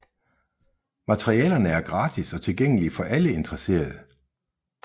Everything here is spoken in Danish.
Materialerne er gratis og tilgængelige for alle interesserede